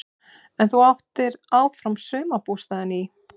En þú áttir áfram sumarbústaðinn í